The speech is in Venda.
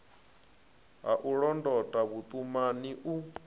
ha u londota vhuṱumani u